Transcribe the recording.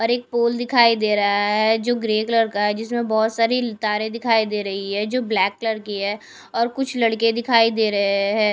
और एक पोल दिखाई दे रहा है जो ग्रे कलर का है जिसमें बहुत सारी तारें दिखाई दे रही है जो ब्लैक कलर की है और कुछ लड़के दिखाई दे रहे हैं।